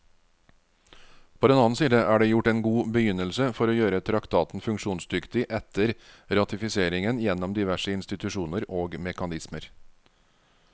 På den annen side er det gjort en god begynnelse for å gjøre traktaten funksjonsdyktig etter ratifiseringen gjennom diverse institusjoner og mekanismer.